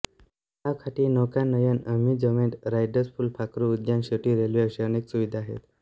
तलाव काठी नौकानयन अम्युझमेंट राईडस फुलपाखरू उद्यान छोटी रेल्वे अशा अनेक सुविधा आहेत